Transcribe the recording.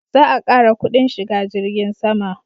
Za a ƙara kudin shiga jirgin sama